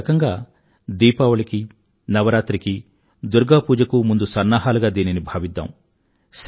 ఒకరకంగా దీపావళికి నవరాత్రికి దుర్గా పూజకు ముందు సన్నాహాలుగా దీనిని భావిద్దాం